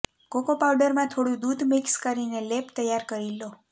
cocoa પાઉડરમાં થોડું દૂધ મિક્સ કરીને લેપ તૈયાર કરી લો